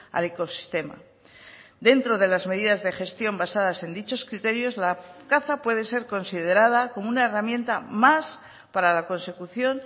al ecosistema dentro de las medidas de gestión basadas en dichos criterios la caza puede ser considerada como una herramienta más para la consecución